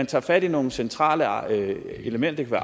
tager fat i nogle centrale elementer